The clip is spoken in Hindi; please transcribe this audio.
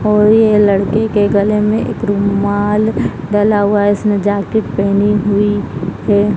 और ये लड़के के गले में एक रुमाल डला हुआ है इसने जैकेट पेहेनी हुई है।